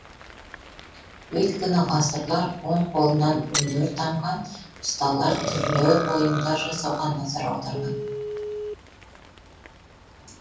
өйткені ғасырлар он қолынан өнер тамған ұсталар түрлі бұйымдар жасауға назар аударған